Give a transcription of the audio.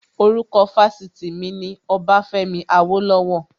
Orúkọ Fásitì mi ni Ọbafẹ́mi Awólọ́wọ̀